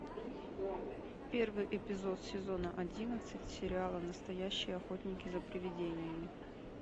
первый эпизод сезона одиннадцать сериала настоящие охотники за привидениями